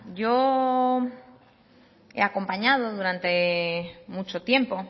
yo he acompañado durante mucho tiempo